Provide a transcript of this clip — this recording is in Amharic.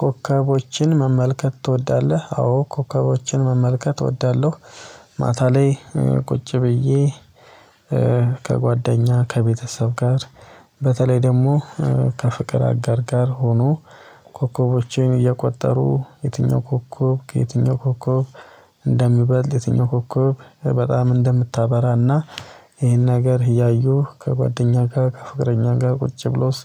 ኮከቦችን መመልከት ትወዳለህ? አዎ ኮከቦችን መመልከት እወዳለሁ። ማታ ላይ ቁጭ ብዬ ከጓደኛ ከቤተሰብ ጋር በተለይ ደግሞ ከፍቅር አጋር ጋር ሆኖ። ኮከቦችን እየቆጠሩ የትኛው ኮከብ ከየትኛው ኮከብ እንደሚበልጥ የትኛው ኮከብ በጣም እንደምታበራና ይሄን ነገር እያዩ ከጓደኛ ጋር ከፍቅረኛ ጋር ቁጭ ብሎስ